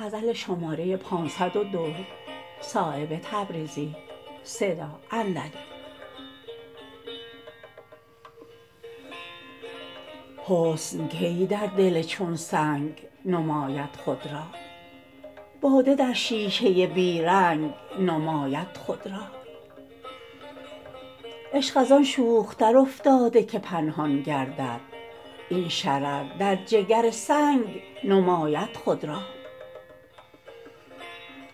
حسن کی در دل چون سنگ نماید خود را باده در شیشه بیرنگ نماید خود را عشق ازان شوختر افتاده که پنهان گردد این شرر در جگر سنگ نماید خود را